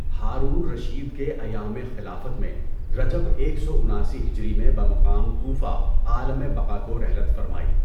Haroon al Rashid کے ایامِ خلافت میں رجب ایک سو اناسی ہجری میں بمقام کوفہ عالَمِ بقا کو رحلت فرمائی۔